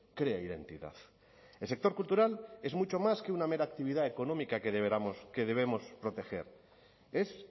crea identidad el sector cultural es mucho más que una mera actividad económica que debemos proteger es